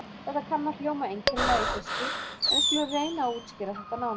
Þetta kann að hljóma einkennilega í fyrstu, en við skulum reyna að útskýra þetta nánar.